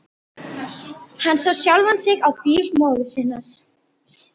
Hann sá sjálfan sig á bíl móður sinnar.